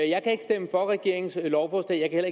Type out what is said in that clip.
jeg kan ikke stemme for regeringens lovforslag jeg kan